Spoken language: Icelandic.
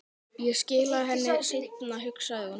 Ég skila henni seinna, hugsaði hún.